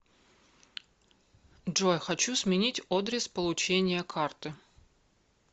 джой хочу сменить одрес получения карты